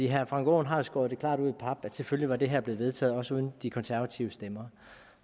herre frank aaen har skåret det klart ud i pap at selvfølgelig var det her blevet vedtaget også uden de konservative stemmer